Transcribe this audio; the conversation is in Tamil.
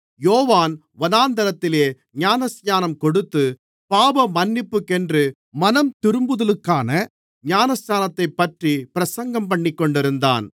யோவான் வனாந்திரத்தில் ஞானஸ்நானம் கொடுத்து பாவமன்னிப்புக்கென்று மனந்திரும்புதலுக்கான ஞானஸ்நானத்தைப்பற்றி பிரசங்கம்பண்ணிக்கொண்டிருந்தான்